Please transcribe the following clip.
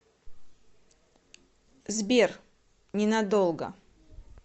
сбер ненадолго